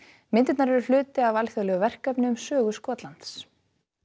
myndirnar eru hluti af alþjóðlegu verkefni um sögu Skotlands